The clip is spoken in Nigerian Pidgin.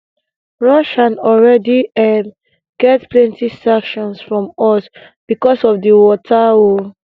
russia already um get plenti sanctions from us bicos of di war um